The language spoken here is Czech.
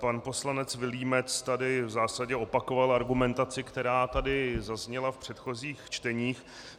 Pan poslanec Vilímec tady v zásadě opakoval argumentaci, která tady zazněla v předchozích čteních.